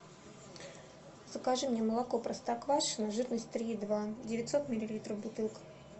закажи мне молоко простоквашино жирность три и два девятьсот миллилитров бутылка